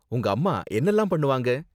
உங்க அம்மா என்னலாம் பண்ணுவாங்க?